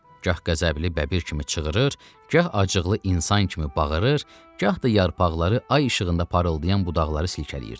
Gah qəzəbli bəbir kimi çığırır, gah ağızcıqlı insan kimi bağırır, gah da yarpaqları ay işığında parıldayan budaqları silkələyirdi.